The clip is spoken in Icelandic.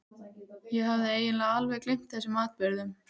Ég hafði eiginlega alveg gleymt þessum atburðum.